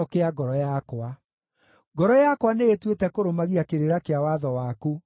Ngoro yakwa nĩĩtuĩte kũrũmagia kĩrĩra kĩa watho waku o nginya mũthia.